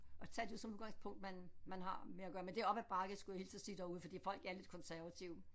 At tage det som udgangspunkt man man har med at gøre men det er op ad bakke skulle jeg hilse og sige derude fordi folk er lidt konservative